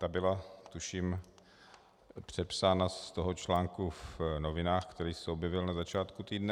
Ta byla tuším přepsána z toho článku v novinách, který se objevil na začátku týdne.